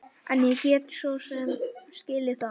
En ég get svo sem skilið það.